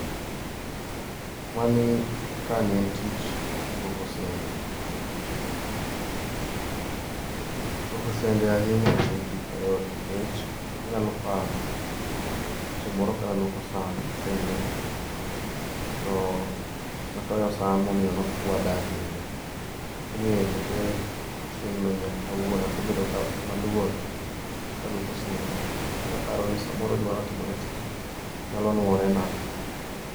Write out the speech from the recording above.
Mani kani en tich luoko sende, luoko sende ahinya oken tich mayot nikech anyalo paro chieng moro kaluoko san, sende to atoyo san momiyo nochuada ahinya, omiyo chakre chieng no nyaka kawuono asebedo ka, maluor ka aluoko sende nikech aparoni gima notimore cha nyalo nuore na